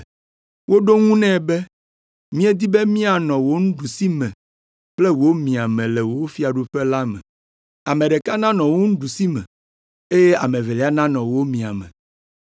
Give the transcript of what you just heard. Woɖo eŋu nɛ be, “Míedi be míanɔ wò nuɖusime kple wò miame le wò fiaɖuƒe la me. Ame ɖeka nanɔ wò ɖusime eye ame evelia nanɔ wò miame.”